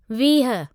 वीह